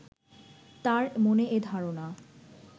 তাঁর মনে এ ধারণা